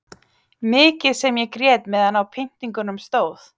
Mikið sem ég grét meðan á pyntingunum stóð.